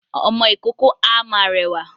Ọmọ ìkókó a máa rẹwà